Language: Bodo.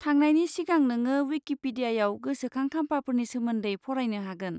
थांनायनि सिगां नोंङो विकिपीडियाआव गोसोखां खाम्फाफोरनि सोमोन्दै फरायनो हागोन।